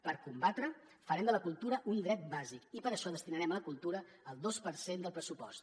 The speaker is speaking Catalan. per combatre ho farem de la cultura un dret bàsic i per això destinarem a la cultura el dos per cent del pressupost